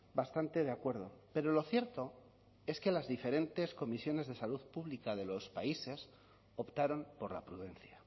bastante de acuerdo pero lo cierto es que las diferentes comisiones de salud pública de los países optaron por la prudencia